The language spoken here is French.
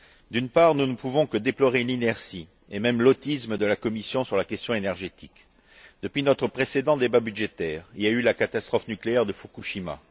D'une part, nous ne pouvons que déplorer l'inertie et même l'autisme de la Commission sur la question énergétique. Depuis notre précédent débat budgétaire, il y a eu la catastrophe nucléaire de Fukushima.